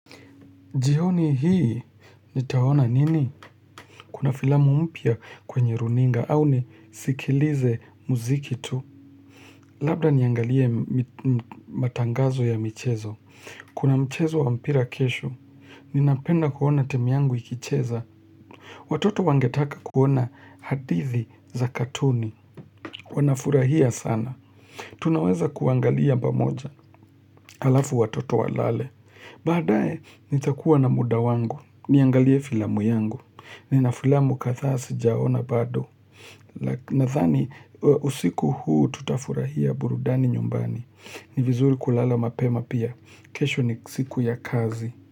Jihoni hii, nitaona nini? Kuna filamu mpya kwenye runinga au nisikilize muziki tu. Labda niangalie matangazo ya michezo. Kuna michezo wa mpira kesho, ninapenda kuona timu yangu ikicheza. Watoto wangetaka kuona hadithi za katuni. Wanafurahia sana. Tunaweza kuangalia bamoja, halafu watoto walale. Baadae, nitakuwa na muda wangu. Niangalie filamu yangu. Nina filamu kadhaa sijaona bado. Nadhani usiku huu tutafurahia burudani nyumbani. Ni vizuri kulala mapema pia. Kesho ni siku ya kazi.